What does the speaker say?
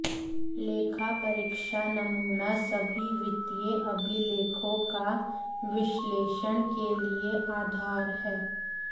लेखा परीक्षा नमूना सभी वित्तीय अभिलेखों का विश्लेषण के लिए आधार है